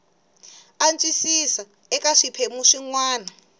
antswisiwa eka swiphemu swin wana